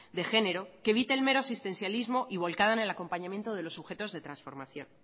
de género que evite el mero existencialismo y volcada en el acompañamiento de los sujetos de trasformación